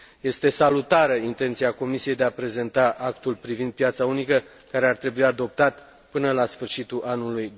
Este salutară intenția Comisiei de a prezenta Actul privind piața unică, care ar trebui adoptat până la sfârșitul anului